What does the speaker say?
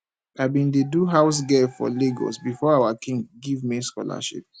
i bin dey do house girl for lagos before our king give me scholarship